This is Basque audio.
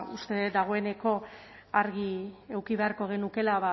uste dut dagoeneko argi eduki beharko genukeela